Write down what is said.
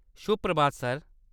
शुभ-प्रभात sir.